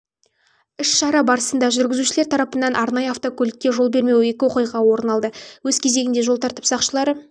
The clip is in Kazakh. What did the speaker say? іс-шара барысында жүргізушілер тарапынан арнайы автокөлікке жол бермеу екіоқиға орын алды өз кезегінде жол тәртіп сақшылары